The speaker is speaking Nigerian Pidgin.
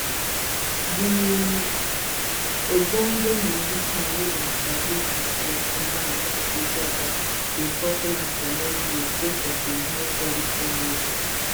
di ogbonge musician wey dem sabi as gentleman mike ejeagha bin popular for many years sake of im highquality music